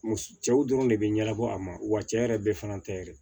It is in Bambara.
Muso cɛw dɔrɔn de bɛ ɲɛnabɔ a ma wa cɛ yɛrɛ bɛɛ fana tɛ yɛrɛ